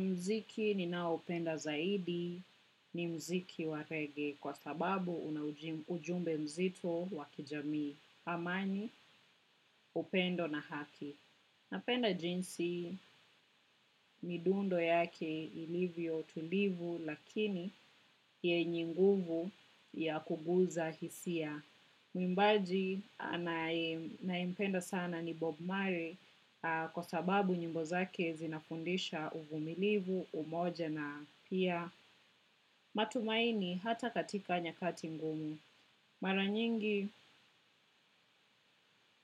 Mziki ninaopenda zaidi ni mziki wa reggae kwa sababu una ujumbe mzito wa kijamii amani upendo na haki. Napenda jinsi midundo yake ilivyo tulivu lakini yenyenguvu ya kuguza hisia. Mwimbaji nayempenda sana ni Bob Murray kwa sababu nyimbo zake zinafundisha uvumilivu, umoja na pia matumaini hata katika nyakati ngumu. Mara nyingi